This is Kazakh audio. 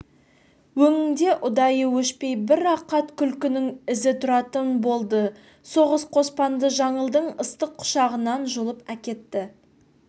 өңінде ұдайы өшпей бір рақат күлкінің ізі тұратын болды соғыс қоспанды жаңылдың ыстық құшағынан жұлып әкетті